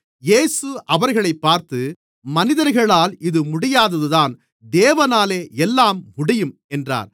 இயேசு அவர்களைப் பார்த்து மனிதர்களால் இது முடியாததுதான் தேவனாலே எல்லாம் முடியும் என்றார்